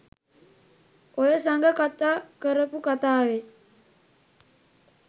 ඔය සඟ කතා කරපු කතාවේ